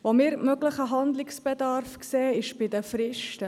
Möglichen Handlungsbedarf sehen wir bei den Fristen: